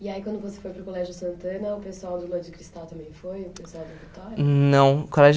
E aí, quando você foi para o Colégio Santana, o pessoal do Lua de Cristal também foi? Não, o colégio